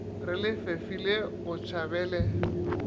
re le fefile o tšhabele